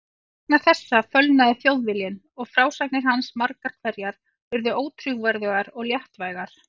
Vegna þessa fölnaði Þjóðviljinn og frásagnir hans margar hverjar urðu ótrúverðugar og léttvægar.